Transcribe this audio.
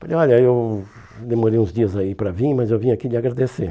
Falei, olha, eu demorei uns dias aí para vir, mas eu vim aqui lhe agradecer.